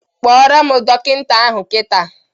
Kpọrọ m dọkịta ahụ kita!